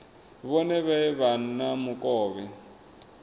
vhone vha vhe na mukovhe